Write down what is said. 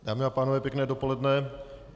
Dámy a pánové pěkné dopoledne.